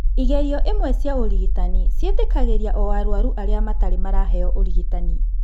Igerio imwe cia ũrigitani ciĩtĩkagĩria o arũaru arĩa matarĩ maraheo ũrigitani.